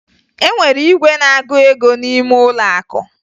E nwere igwe na-agụ ego n'ime ụlọ akụ